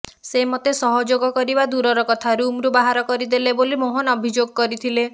ସେ ମୋତେ ସହଯୋଗ କରିବା ଦୂରର କଥା ରୁମରୁ ବାହାର କରିଦେଲେ ବୋଲି ମୋହନ ଅଭିଯୋଗ କରିଥିଲେ